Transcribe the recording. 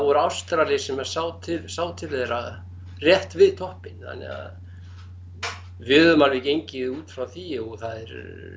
var Ástrali sem sá til sá til þeirra rétt við toppinn þannig að við höfum alveg gengið út frá því og það er